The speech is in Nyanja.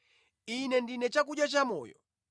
Ine ndine chakudya chamoyo.